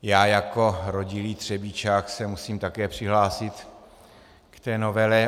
Já jako rodilý Třebíčák se musím také přihlásit k té novele.